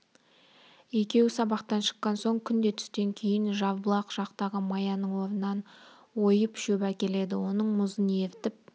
екеуі сабақтан шыққан соң күнде түстен кейін жарбұлақ жақтағы маяның орнынан ойып шөп әкеледі оның мұзын ерітіп